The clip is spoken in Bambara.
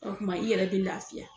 O kuma i yɛrɛ bi lafiya